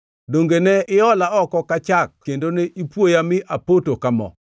Donge ne iola oko ka chak kendo ne ipuoya mi apoto ka mo,